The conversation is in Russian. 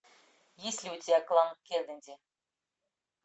есть ли у тебя клан кеннеди